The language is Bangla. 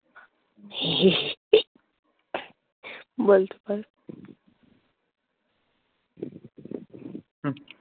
বলতে বল